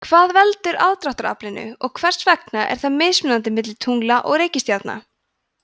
hvað veldur aðdráttaraflinu og hvers vegna er það mismunandi milli tungla og reikistjarna